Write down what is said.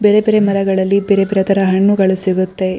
ಬೇರೆ ಬೇರೆ ಮರಗಳಲ್ಲಿ ಬೇರೆ ಬೇರೆ ತರಹ ಹಣ್ಣುಗಳು ಸಿಗುತ್ತೆ.